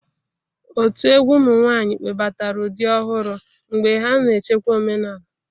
Otu egwu ụmụ nwanyị webatara ụdị ọhụrụ mgbe ha na-echekwa omenala.